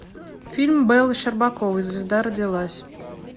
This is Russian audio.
фильм бэллы щербаковой звезда родилась